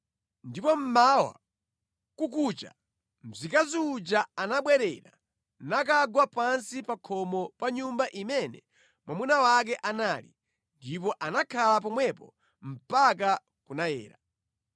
Ndipo mmawa kukucha mzikazi uja anabwerera nakagwa pansi pa khomo pa nyumba imene mwamuna wake anali, ndipo anakhala pomwepo mpaka kunayera.